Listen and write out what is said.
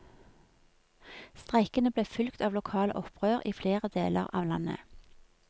Streikene ble fulgt av lokale opprør i flere deler av landet.